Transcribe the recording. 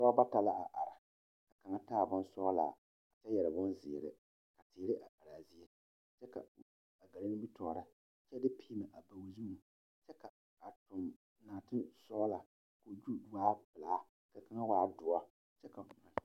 Pɔɔba bayi la zeŋ ba zeŋee ka ba puori kyaare a die a die waa ŋa kaba kyɛ ka moɔ be ba puoriŋ ka teere meŋ be a ba puoriŋ kyɛ ka a pɔgɔ kaŋ sɛge o nuure aŋ do saa